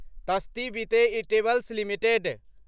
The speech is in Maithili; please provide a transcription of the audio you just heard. तस्ती बिते इटेबल्स लिमिटेड